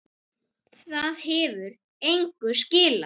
Það hefur engu skilað.